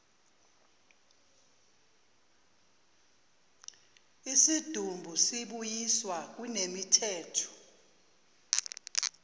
isidumbu sibuyiswa kunemithetho